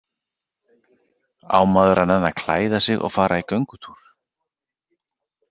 Á maður að nenna að klæða sig og fara í göngutúr?